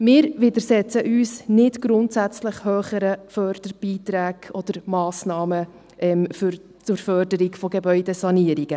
Wir widersetzen uns nicht grundsätzlich höheren Förderbeiträgen oder Massnahmen zur Förderung von Gebäudesanierungen.